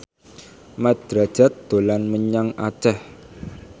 Mat Drajat dolan menyang Aceh